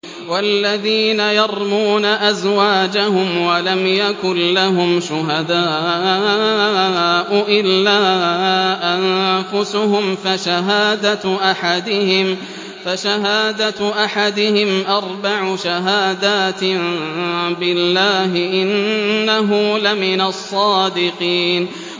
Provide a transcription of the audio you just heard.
وَالَّذِينَ يَرْمُونَ أَزْوَاجَهُمْ وَلَمْ يَكُن لَّهُمْ شُهَدَاءُ إِلَّا أَنفُسُهُمْ فَشَهَادَةُ أَحَدِهِمْ أَرْبَعُ شَهَادَاتٍ بِاللَّهِ ۙ إِنَّهُ لَمِنَ الصَّادِقِينَ